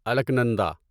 الکنندا